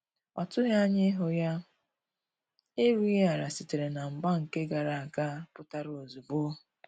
Ọ tughi anya ihu ya, erughi ala sitere na mgba nke gara aga pụtara ozugbo